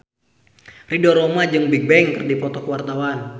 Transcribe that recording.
Ridho Roma jeung Bigbang keur dipoto ku wartawan